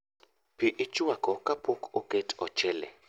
Pii ichwako kapok oket ochele